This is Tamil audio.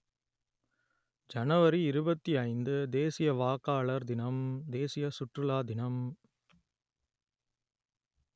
ஜனவரி இருபத்தி ஐந்து தேசிய வாக்காளர் தினம் தேசிய சுற்றுலா தினம்